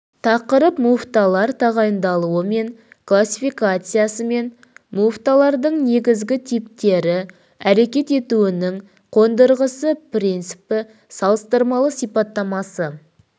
тақырып муфталар тағайындалуы мен классификациясы мен муфталардың негізгі типтері әрекет етуінің қондырғысы принципі салыстырмалы сипаттамасы